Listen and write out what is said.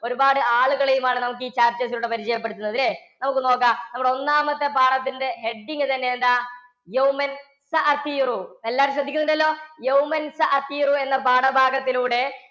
ഒരുപാട് ആളുകളേം ആണ് നമുക്ക് ഈ chapters ലൂടെ പരിചയപ്പെടുത്തുന്നത് അല്ലെ? നമുക്ക് നോക്കാം, നമ്മുടെ ഒന്നാമത്തെ പാഠത്തിന്റെ heading തന്നെ എന്താ എല്ലാവരും ശ്രെദ്ധിക്കുന്നുണ്ടല്ലോ? എന്ന പാഠഭാഗത്തിലൂടെ